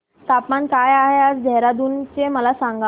तापमान काय आहे आज देहराडून चे मला सांगा